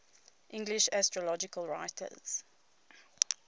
english astrological writers